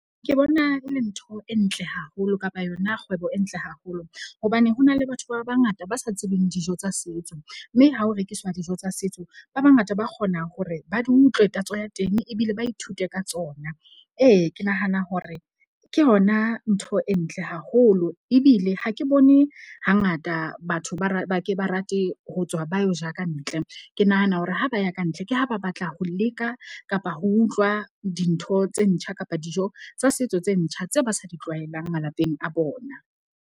Ke bona e le ntho e ntle haholo kapa yona kgwebo e ntle haholo. Hobane ho na le batho ba bangata ba sa tsebeng dijo tsa setso. Mme ha ho rekiswa dijo tsa setso ba bangata ba kgona hore ba di utlwe tatso ya teng ebile ba ithute ka tsona. Ee, ke nahana hore ke hona ntho e ntle haholo. Ebile ha ke bone hangata batho ba ba ke ba rate ho tswa, ba yo ja kantle. Ke nahana hore ha ba ya ka ntle, ke ha ba batla ho leka kapa ho utlwa dintho tse ntjha kapa dijo tsa setso tse ntjha tse ba sa di tlwaelang malapeng a bona.